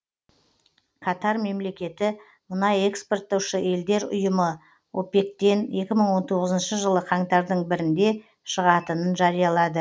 катар мемлекеті мұнай экспорттаушы елдер ұйымы опек тен екі мың он тоғызыншы жылы қаңтардың бірінде шығатынын жариялады